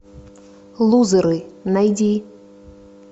лузеры найди